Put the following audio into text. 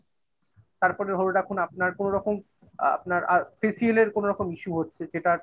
তারপরে হল এখন আপনার কোনরকম আ আপনার facial এর কোনরকম issue হচ্ছে. যেটার